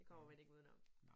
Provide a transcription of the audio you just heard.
Det kommer man ikke udenom